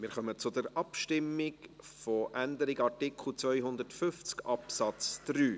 Wir kommen zur Abstimmung über die Änderung von Artikel 250 Absatz 3.